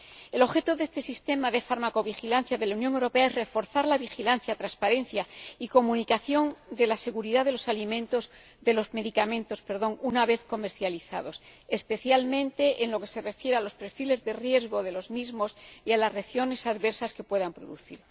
El objeto de este sistema de farmacovigilancia de la Unión Europea es reforzar la vigilancia, transparencia y comunicación en relación con la seguridad de los medicamentos una vez comercializados, especialmente en lo que se refiere a los perfiles de riesgo de los mismos y a las reacciones adversas que puedan producir.